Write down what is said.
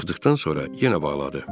Çıxdıqdan sonra yenə bağladı.